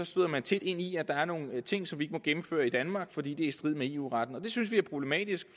støder man tit ind i at der er nogle ting som vi ikke må gennemføre i danmark fordi det er i strid med eu retten det synes vi er problematisk